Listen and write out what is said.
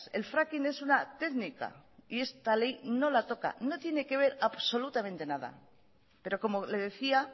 el fracking es una técnica y esta ley no la toca no tiene que ver absolutamente nada pero como le decía